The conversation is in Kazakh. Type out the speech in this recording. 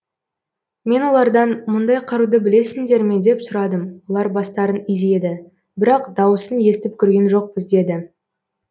мен олардан мұндай қаруды білесіңдер ме деп сұрадым олар бастарын изеді бірақ дауысын естіп көрген жоқпыз деді